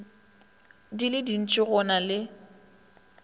di le dintši go na